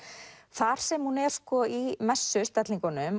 þar sem hún er í